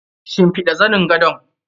Shimfiɗa zanin gadon?